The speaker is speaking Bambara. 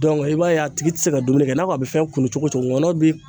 Dɔnku i b'a ye a tigi te se ka dumuni kɛ i n'a ko a be fɛn kunun cogo cogo ŋɔnɔ bi